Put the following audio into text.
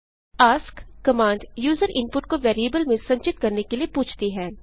ask command user input को variable में संचित करने के लिए पूछती है